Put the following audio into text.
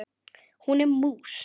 Hún er mús.